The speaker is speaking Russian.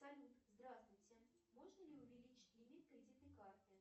салют здравствуйте можно ли увеличить лимит кредитной карты